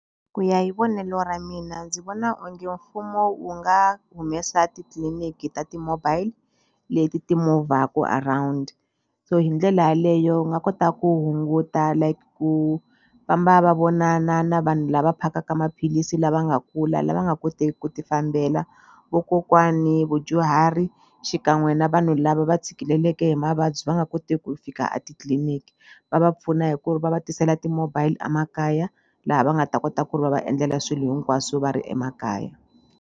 Ku ya hi vonelo ra mina ndzi vona onge mfumo wu nga humesa titliliniki ta ti-mobile leti ti around so hi ndlela yaleyo u nga kota ku hunguta like ku famba va vonana na vanhu lava phakaka maphilisi lava nga kula lava nga koteki ku ti fambela vokokwani vudyuhari xikan'we na vanhu lava va tshikeleleke hi mavabyi va nga koti ku fika a titliliniki va va pfuna hi ku va va tisela ti-mobile a makaya laha va nga ta kota ku ri va va endlela swilo hinkwaswo va ri emakaya